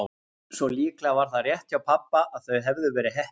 Svo líklega var það rétt hjá pabba að þau hefðu verið heppin.